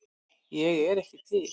Ég er ekki til